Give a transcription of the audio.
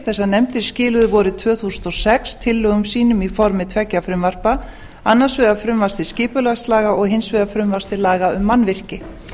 þessar nefndir skiluðu vorið tvö þúsund og sex tillögum sínum í formi tveggja frumvarpa annars vegar frumvarpi til skipulagslaga og hins vegar frumvarpi til laga um mannvirki